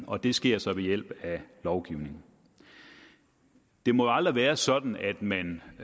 og det sker så ved hjælp af lovgivning det må jo aldrig være sådan at man